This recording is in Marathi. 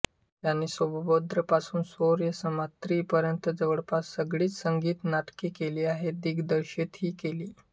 त्यांनी सौभद्रपासून स्वरसम्राज्ञी पर्यंत जवळपास सगळीच संगीत नाटके केली काही दिग्दर्शितही केली